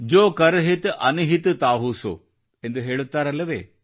ಜೊ ಕರ್ ಹಿತ್ ಅನಹಿತ್ ತಾಹು ಸೊ ಎಂದು ಹೇಳುತ್ತಾರಲ್ಲವೆ